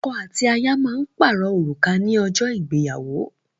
Ọkọ àti aya má parọ Òrùka ní ojó ìgbéyàwó